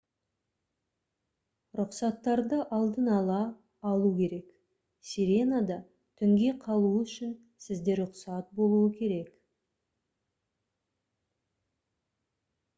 рұқсаттарды алдын ала алу керек сиренада түнге қалу үшін сізде рұқсат болуы керек